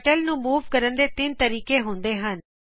turtle ਨੂੰ move ਕਰਨ ਦੇ ਤਿੰਨ ਤਰੀਕੇ ਹੁੰਦੇ ਹਨ